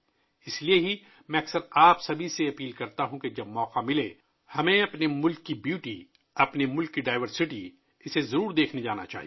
اس لیے میں آپ سب سے اکثر گزارش کرتا ہوں کہ جب بھی موقع ملے ، ہمیں اپنے ملک کی خوبصورتی اور تنوع دیکھنے ضرور جانا چاہیے